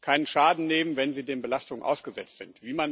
keinen Schaden nehmen, wenn sie den Belastungen ausgesetzt sind.